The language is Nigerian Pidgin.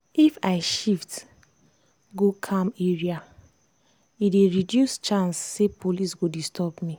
if i shift go calm area e dey reduce chance say police go disturb me.